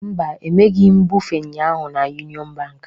Mba, emeghị m mbufe ụnyaahụ na Union Bank